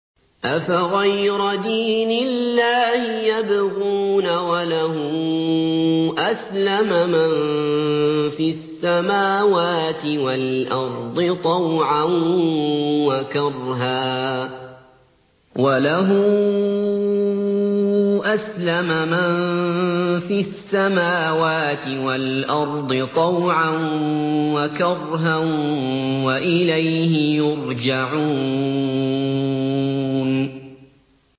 أَفَغَيْرَ دِينِ اللَّهِ يَبْغُونَ وَلَهُ أَسْلَمَ مَن فِي السَّمَاوَاتِ وَالْأَرْضِ طَوْعًا وَكَرْهًا وَإِلَيْهِ يُرْجَعُونَ